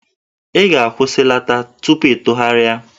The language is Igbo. Ị ga-akwụsịlata tupu ịtụgharịa!